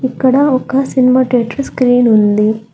ఇక్కడ ఒక cinema title screen ఉంది.